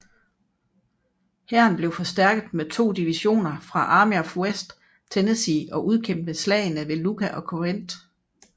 Hæren blev forstærket med to divisioner fra Army of West Tennessee og udkæmpede slagene ved Iuka og Corinth